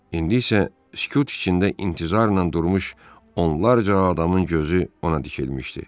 İndi isə sükut içində intizarla durmuş onlarla adamın gözü ona dikilmişdi.